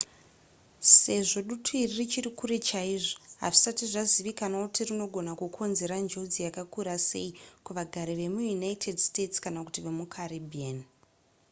sezvo dutu iri richiri kure chaizvo hazvisati zvazivikanwa kuti rinogona kukonzera njodzi yakakura sei kuvagari vemuunited states kana kuti vemucaribbean